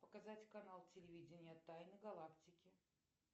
показать канал телевидения тайны галактики